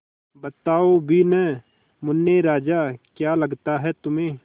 बताओ भी न मुन्ने राजा क्या लगता है तुम्हें